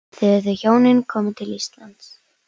Þegar þau hjónin koma til Íslands